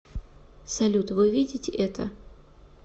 салют вы видите это